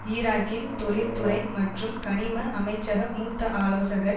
ஈராக்கின் தொழிற்துறை மற்றும் கனிம அமைச்சக மூத்த ஆலோசகர்